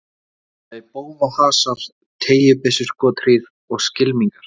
Eða í bófahasar, teygjubyssuskothríð og skylmingar.